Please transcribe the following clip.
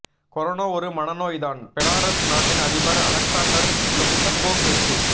corona ஒரு மனநோய்தான் Belarus நாட்டின் அதிபர் அலெக்சாண்டர் லுக்சங்கோ பேச்சு